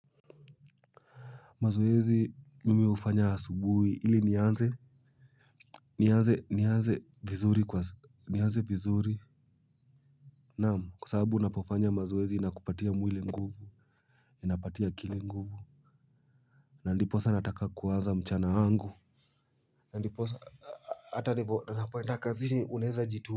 Mazoezi mimi hufanya asubuhi ili nianze nianze nianze vizuri naam kwa sababu unapofanya mazoezi inakupatia mwili nguvu inapatia akili nguvu na ndiposa nataka kuwaza mchana wangu ndiposa hata ninapoenda kazini unaeza jituma.